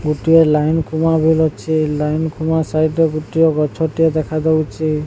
ଗୋଟିଏ ଲାଇନ୍ ଖୁମା ବିଲ୍ ଅଛି ଲାଇନ୍ ଖୁମା ସାଇଟ୍ ରେ ଗୋଟିଏ ଗଛ ଟିଏ ଦେଖାଯାଉଛି।